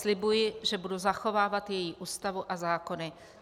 Slibuji, že budu zachovávat její Ústavu a zákony.